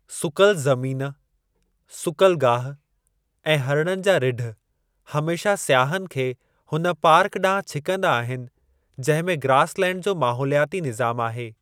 सुकल ज़मीन, सुकलु गाहि ऐं हरणनि जा रिढ हमेशा सियाहनि खे हुन पार्क ॾांहुं छिकंदा आहिनि जंहिं में ग्रास लैंड जो माहौलियाती निज़ामु आहे।